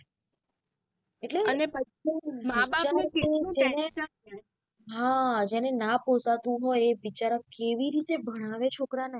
હા જેને ના પોસાતું હોય એ બિચારા કેવી રીતે ભણાવે છોકરા ને.